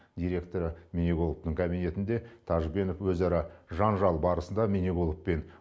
директоры міниғұловтың кабинетінде тәжбенов өзара жанжал барысында міниғұлов пен